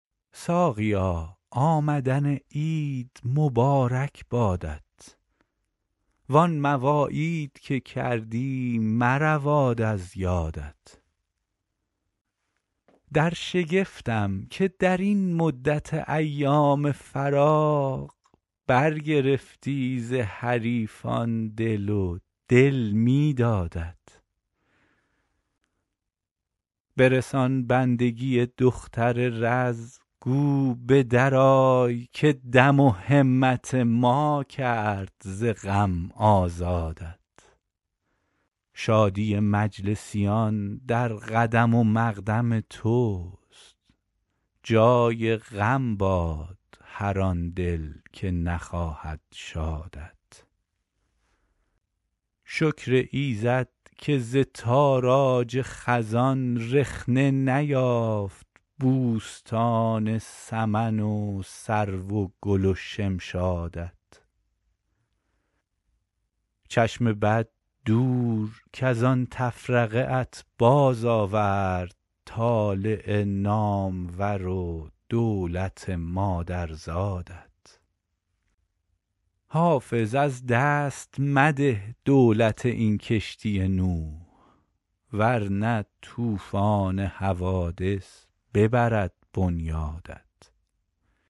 ساقیا آمدن عید مبارک بادت وان مواعید که کردی مرود از یادت در شگفتم که در این مدت ایام فراق برگرفتی ز حریفان دل و دل می دادت برسان بندگی دختر رز گو به درآی که دم و همت ما کرد ز بند آزادت شادی مجلسیان در قدم و مقدم توست جای غم باد مر آن دل که نخواهد شادت شکر ایزد که ز تاراج خزان رخنه نیافت بوستان سمن و سرو و گل و شمشادت چشم بد دور کز آن تفرقه ات بازآورد طالع نامور و دولت مادرزادت حافظ از دست مده دولت این کشتی نوح ور نه طوفان حوادث ببرد بنیادت